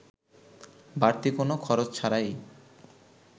বাড়তি কোনো খরচ ছাড়াই